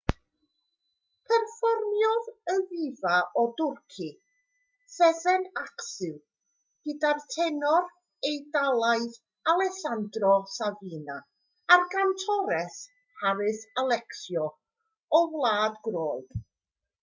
perfformiodd y ddifa o dwrci sezen aksu gyda'r tenor eidalaidd alessanndro safina a'r gantores haris alexiou o wlad groeg